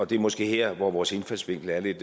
det er måske her vores indfaldsvinkler er lidt